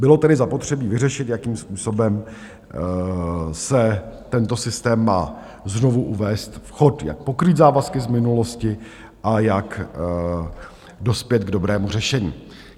Bylo tedy zapotřebí vyřešit, jakým způsobem se tento systém má znovu uvést v chod, jak pokrýt závazky z minulosti a jak dospět k dobrému řešení.